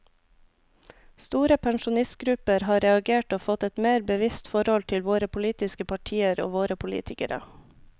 Store pensjonistgrupper har reagert og fått et mer bevisst forhold til våre politiske partier og våre politikere.